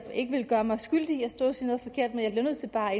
jeg ikke vil gøre mig skyldig i at stå og sige noget forkert men jeg bliver nødt til bare